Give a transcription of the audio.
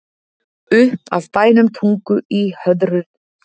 Upp af bænum Tungu í Hörðudal er Tungufjall.